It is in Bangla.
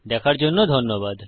দেখার জন্য ধন্যবাদ